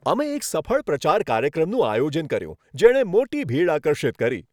અમે એક સફળ પ્રચાર કાર્યક્રમનું આયોજન કર્યું, જેણે મોટી ભીડ આકર્ષિત કરી.